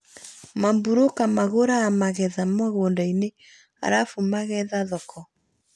Maburũka magũraga magetha mũgũnda-inĩ arabu mageetha thoko